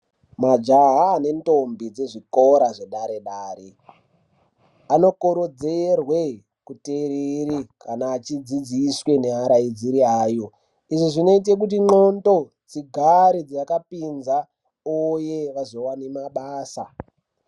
Majaha nendombi dsezvikora zvedare dare anokurudzirwe kutereri kana achidzidziswe neuraidziri vayo izvi zvinoite kuti ndxondo dzigare dzakapinza uye vazoWane mabasa.